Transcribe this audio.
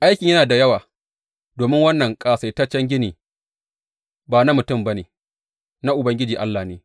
Aikin yana da yawa, domin wannan ƙasaitaccen ginin ba na mutum ba ne, na Ubangiji Allah ne.